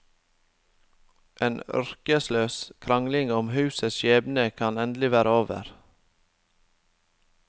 En ørkesløs krangling om husets skjebne kan endelig være over.